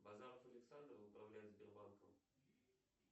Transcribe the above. базаров александр управляет сбербанком